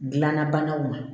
Gilanna banaw ma